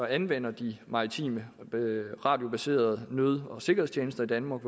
anvender de maritime radiobaserede nød og sikkerhedstjenester i danmark